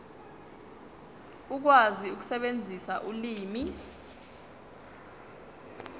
ukwazi ukusebenzisa ulimi